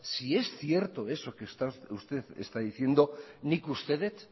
si es cierto eso que usted está diciendo nik uste dut